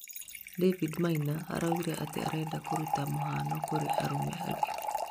Daudi Maina araũgire atĩ nĩarendaga kũrũta mũhano kũrĩ arũme angĩ